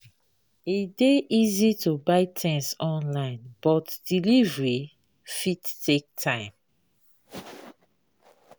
E dey easy to buy things online, but delivery fit take time.